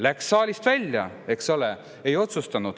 Läks saalist välja, eks ole, ei otsustanud.